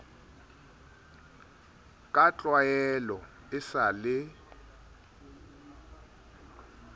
ka tlwaelo e sa le